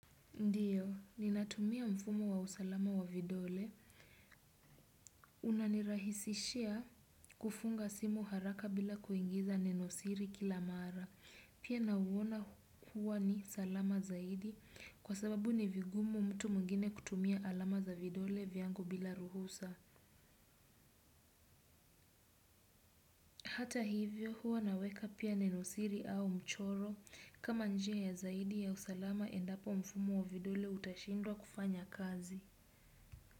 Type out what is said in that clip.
Ndiyo, ninatumia mfumo wa usalama wa vidole. Unanirahisishia kufunga simu haraka bila kuingiza nenosiri kila mara. Pia nauona huwa ni salama zaidi kwa sababu ni vigumu mtu mwingine kutumia alama za vidole vyangu bila ruhusa. Hata hivyo huwa naweka pia nenosiri au mchoro kama nje ya zaidi ya usalama endapo mfumo wa vidole utashindwa kufanya kazi.